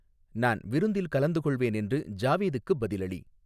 நான் விருந்தில் கலந்துகொள்வேன் என்று ஜாவேதுக்குப் பதிலளி